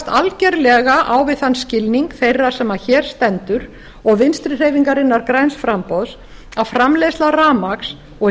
algerlega á við þann skilning þeirra sem hér stendur og vinstri hreyfingarinnar græns framboðs að framleiðsla rafmagns og